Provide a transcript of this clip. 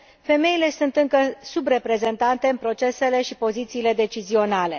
femeile sunt încă subreprezentate în procesele și pozițiile decizionale.